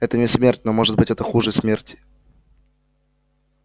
это не смерть но может быть это хуже смерти